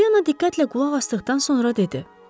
Pollyana diqqətlə qulaq asdıqdan sonra dedi: